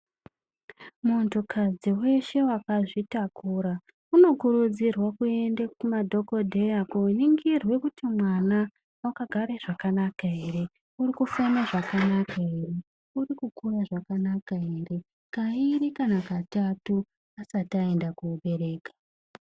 Muntukadzi veshe vakazvitakura unokurudzirwe kuende kumadhokodheya koningirwe kuti mwana vakagara zvakanaka here, urikukure zvakanaka here? Kairi kana katatu asati aende koobereka.